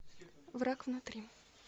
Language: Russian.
враг внутри